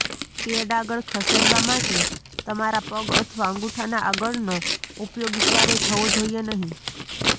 pad આગળ ખસેડવા માટે તમારા પગ અથવા અંગૂઠાના આગળનો ઉપયોગ ક્યારેય થવો જોઈએ નહીં